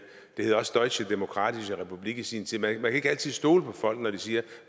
hed også deutsche demokratische republik i sin tid man kan ikke altid stole på folk når de siger